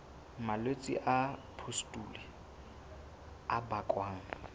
malwetse a pustule a bakwang